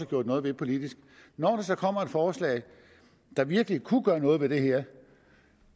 gjort noget ved politisk når der så kommer et forslag der virkelig kunne gøre noget ved det her og